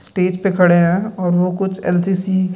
Stage पे खड़े हैं और वो कुछ एन.सी.सी. --